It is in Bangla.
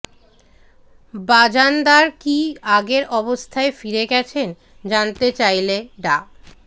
বাজানদার কী আগের অবস্থায় ফিরে গেছেন জানতে চাইলে ডা